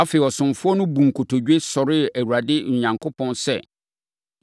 Afei, ɔsomfoɔ no buu nkotodwe, sɔree Awurade Onyankopɔn sɛ,